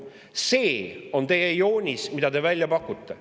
See on teie joonis, mida te välja pakute.